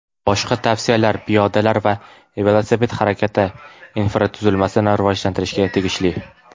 Boshqa tavsiyalar piyodalar va velosiped harakati infratuzilmasini rivojlantirishga tegishli.